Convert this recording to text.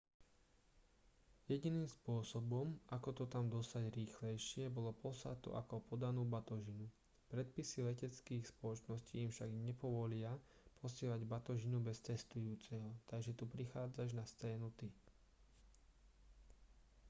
jediným spôsobom ako to tam dostať rýchlejšie bolo poslať to ako podanú batožinu predpisy leteckých spoločností im však nepovolia posielať batožinu bez cestujúceho takže tu prichádzaš na scénu ty